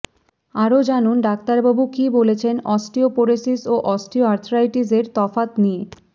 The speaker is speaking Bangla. আরও জানুন ডাক্তারবাবু কী বলছেন অস্টিওপোরোসিস ও অস্টিওআর্থ্রারাইটিসের তফাৎ নিয়ে